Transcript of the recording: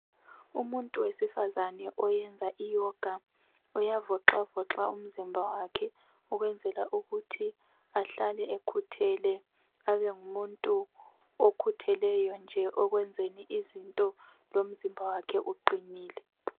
Umuntu wesifazane oyenza iyoga, uyavoxavoxa umzimba wakhe ukwenzela ukuthi ahlale ekhuthele abe ngumuntu okhutheleyo nje ekwenzeni izinto lomzimba wakhe uqinile.